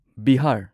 Bihar